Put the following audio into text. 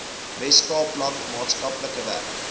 weskaapland maatskaplike werk